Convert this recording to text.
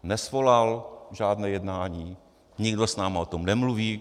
Nesvolal žádné jednání, nikdo s námi o tom nemluví.